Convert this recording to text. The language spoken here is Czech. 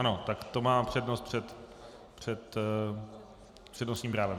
Ano, tak to má přednost před přednostním právem.